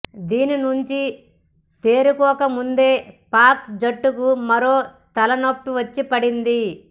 దీని నుంచి తేరుకోకముందే పాక్ జట్టుకు మరో తలనొప్పి వచ్చి పడింది